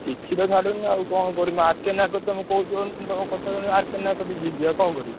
କିଛି ତ ଛାଡ଼ୁନି ଆଉ କଣ କରିବି ମୋ ଆର୍‌କେ ନାୟକ ଙ୍କ କଥା କହୁଛ ଶୁଣି ଆର୍‌କେ ନାୟକ କତିକି ଯିବି ଆଉ କଣ କରିବି?